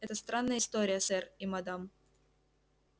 это странная история сэр и мадам